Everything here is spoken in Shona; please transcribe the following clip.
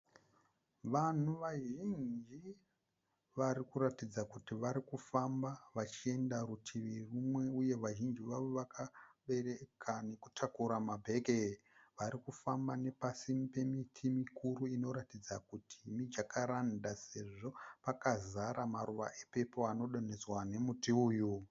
Vanhu vazhinji varikuratidza kuti varikufamba vachienda rutivi rimwe uye vazhinji vavo vakabereka nekutakura mabheke. Varikufamba vari pasi pemiti mikuru inokuratidza kuti mijakaranda sezvo pakazara maruva epepuru anodonhedzwa nemuti uyu.